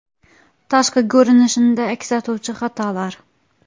Tashqi ko‘rinishda aks etuvchi xatolar .